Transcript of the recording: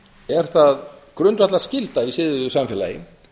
er það grundvallarskylda í siðuðu samfélagi